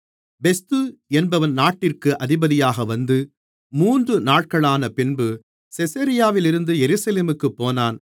பெஸ்து என்பவன் நாட்டிற்கு அதிபதியாக வந்து மூன்று நாட்களானபின்பு செசரியாவிலிருந்து எருசலேமுக்குப் போனான்